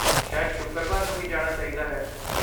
ਸ਼ਾਇਦ ਸ਼ੁੱਕਰਵਾਰ ਨੂੰ ਹੀ ਜਾਣਾ ਚਾਹੀਦਾ ਹੈ।